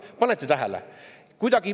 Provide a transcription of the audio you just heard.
Kas panete tähele?